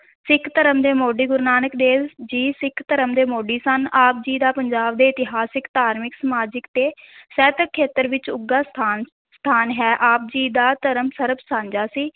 ਸਿੱਖ ਧਰਮ ਦੇ ਮੋਢੀ, ਗੁਰੂ ਨਾਨਕ ਦੇਵ ਜੀ ਸਿੱਖ ਧਰਮ ਦੇ ਮੋਢੀ ਸਨ, ਆਪ ਜੀ ਦਾ ਪੰਜਾਬ ਦੇ ਇਤਿਹਾਸਿਕ, ਧਾਰਮਿਕ, ਸਮਾਜਿਕ ਤੇ ਸਾਹਿਤਕ ਖੇਤਰ ਵਿੱਚ ਉੱਘਾ ਸਥਾਨ ਸਥਾਨ ਹੈ, ਆਪ ਜੀ ਦਾ ਧਰਮ ਸਰਬ ਸਾਂਝਾ ਸੀ।